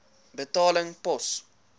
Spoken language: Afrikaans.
betaling pos